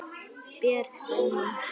Björg, sagði hún.